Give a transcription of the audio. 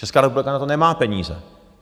Česká republika na to nemá peníze.